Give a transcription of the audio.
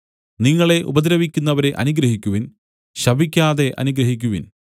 നിങ്ങളെ ഉപദ്രവിക്കുന്നവരെ അനുഗ്രഹിക്കുവിൻ ശപിക്കാതെ അനുഗ്രഹിക്കുവിൻ